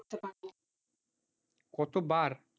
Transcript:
কতোবার,